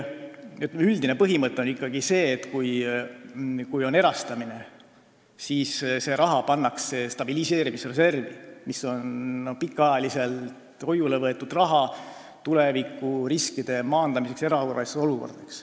Üldine põhimõte on ikkagi see, et see raha pannakse stabiliseerimisreservi, kus on pikaajaliselt hoiule võetud raha, et tulevikus saaks maandada riske erakorralistes olukordades.